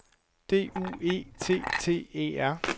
D U E T T E R